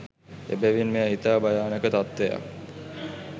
එබැවින් මෙය ඉතා භයානක තත්ත්වයක්